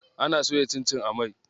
Ana soya cincin a mai.